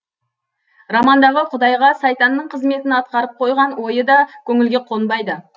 романдағы құдайға сайтанның қызметін атқаратып қойған ойы да көңілге қонбайды